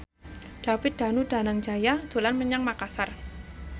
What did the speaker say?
David Danu Danangjaya dolan menyang Makasar